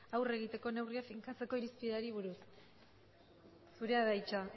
aurre egiteko neurriak finkatzeko irizpideei buruz zure da hitza